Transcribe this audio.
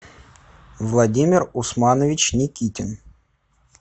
владимир усманович никитин